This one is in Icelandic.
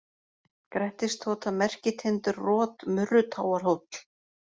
Grettistota, Merkitindur, Rot, Murrutáarhóll